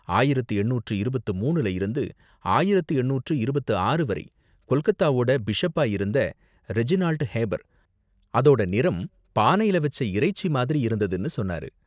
ஆயிரத்து எண்ணூற்று இருபத்து மூனுல இருந்து ஆயிரத்து எண்ணூற்று இருபத்து ஆறு வரை கொல்கத்தாவோட பிஷப்பா இருந்த ரெஜினால்ட் ஹேபர், அதோட நிறம் பானையில வச்ச இறைச்சி மாதிரி இருந்ததுனு சொன்னாரு.